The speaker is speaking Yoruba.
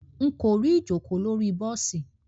Nko ri ijoko lori bosi.